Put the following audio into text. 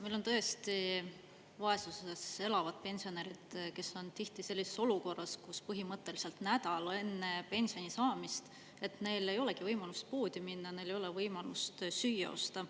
Meil on tõesti vaesuses elavad pensionärid, kes on tihti sellises olukorras, kus põhimõtteliselt nädal enne pensioni saamist neil ei olegi võimalust poodi minna, neil ei ole võimalust süüa osta.